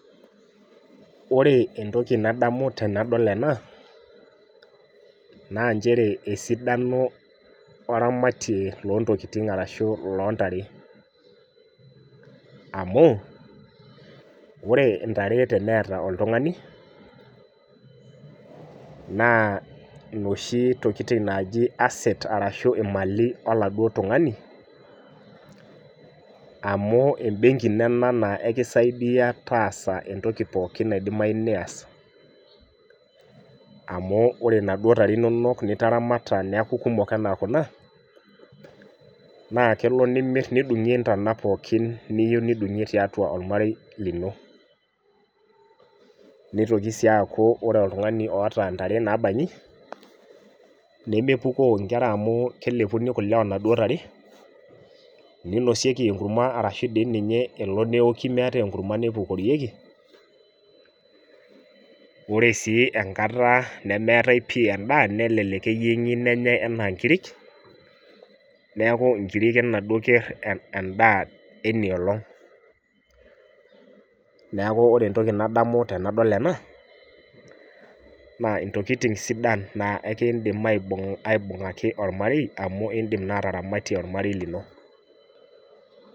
Wore entoki nadamu tenadol ena, naa nchere esidano oramatie loontokitin arashu lontare, amu wore intare teneeta oltungani, naa inoshi tokitin naaji assets arashu imali oladuo tungani, amu embenki ino ena naa ekisaidia taasa entoki pookin naidimayu nias. Amu wore inaduo tare inonok nitaramata neeku kumok enaa kuna, naa kelo nimirr nidungie intana pookin niyieu nidungie tiatua olmarei lino. Nitoki sii aaku wore oltungani oata intare naabanyi, nemepukoo inkera amu kelepuni kule oonaduo tare, ninosieki enkurma ashu dii ninye elo neoki meetae enkurma nepukorieki, wore sii enkata nemeetai pii endaa nelelek eyiengi nenyai enaa inkirik, neeku inkirik enaduo kerr endaa enia olong. Neeku wore entoki nadamu tenadol ena, naa intokitin sidan naa eekindim aibungaki olmarei amu iindim naa ataramatie olmarei lino.